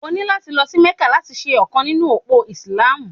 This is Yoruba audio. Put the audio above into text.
O ni láti lọ sí Mẹ́kà láti ṣe ọ̀kan nínú òpó Ìsìlámù.